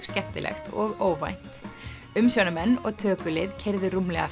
skemmtilegt og óvænt umsjónarmenn og tökulið keyrðu rúmlega